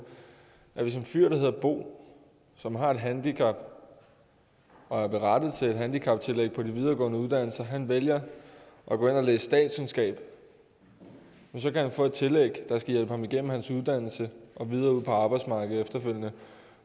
hvis en fyr der hedder bo som har et handicap og er berettiget til et handicaptillæg på de videregående uddannelser vælger at gå ind og læse statskundskab kan han få et tillæg der skal hjælpe ham igennem hans uddannelse og videre ud på arbejdsmarkedet efterfølgende